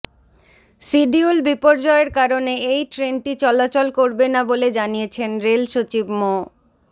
schedule বিপর্যয়ের কারণে এই ট্রেনটি চলাচল করবে না বলে জানিয়েছেন রেল সচিব মো